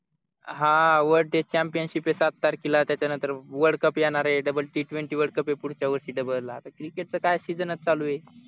हा world test championship ये सात तारखेला त्याच्यानंतर world cup येणारे double t twenty world cup हे पुढच्या वर्षी double आता cricket चा काय season चालू आहे